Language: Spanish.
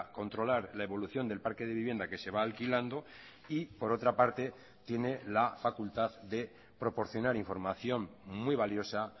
controlar la evolución del parque de vivienda que se va alquilando y por otra parte tiene la facultad de proporcionar información muy valiosa